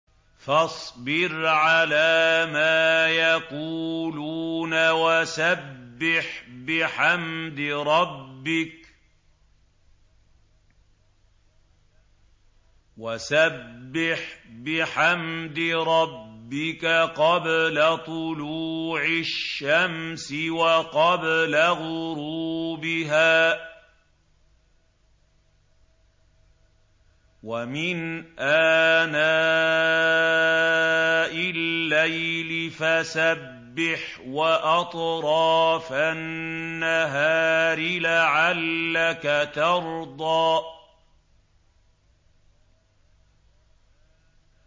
فَاصْبِرْ عَلَىٰ مَا يَقُولُونَ وَسَبِّحْ بِحَمْدِ رَبِّكَ قَبْلَ طُلُوعِ الشَّمْسِ وَقَبْلَ غُرُوبِهَا ۖ وَمِنْ آنَاءِ اللَّيْلِ فَسَبِّحْ وَأَطْرَافَ النَّهَارِ لَعَلَّكَ تَرْضَىٰ